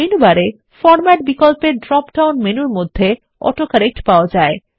menu বারে format বিকল্পের drop down মেনুর মধ্যে অটোকারেক্ট পাওয়া যায়